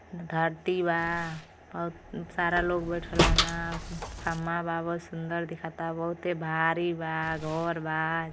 धरती बा। बहुत न् सारा लोग बइठल बान। खमा बा बहुत सुन्दर दिखता। बहुते भारी बा घर बा।